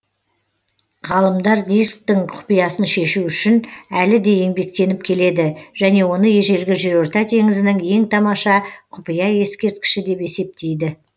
ғалымдар дисктің құпиясын шешу үшін әлі де еңбектеніп келеді және оны ежелгі жерорта теңізінің ең тамаша құпия ескерткіші деп есептейді